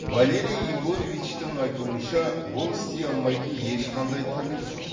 валерий егоровичтің айтуынша ол істей алмайтын ешқандай тірлік жоқ